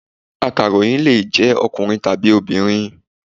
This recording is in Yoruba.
Akàròyìn lè jẹ́ ọkùnrin tàbí obìnrin.